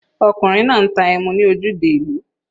Ọkùnrin náà ń ta emu ní ojúde ìlú.